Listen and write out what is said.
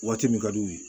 Waati min ka di u ye